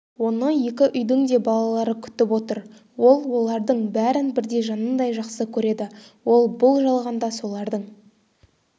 оны екі үйдің де балалары күтіп отыр ол олардың бәрін бірдей жанындай жақсы көреді ол бұл жалғанда солардың